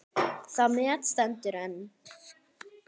Það met stendur enn.